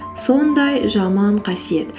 сондай жаман қасиет